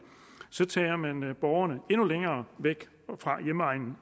tager man borgerne endnu længere væk fra hjemegnen